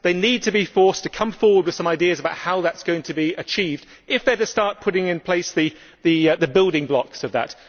They need to be forced to come forward with some ideas about how that is going to be achieved, if they are to start putting in place the building blocks for it.